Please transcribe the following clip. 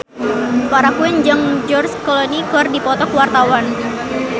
Farah Quinn jeung George Clooney keur dipoto ku wartawan